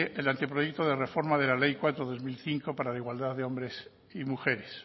el anteproyecto de reforma de la ley cuatro dos mil quince para la igualdad de hombres y mujeres